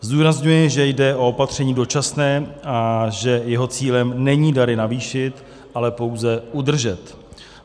Zdůrazňuji, že jde o opatření dočasné a že jeho cílem není dary navýšit, ale pouze udržet.